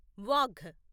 Wagh